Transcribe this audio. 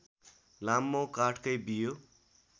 लामो काठकै बियो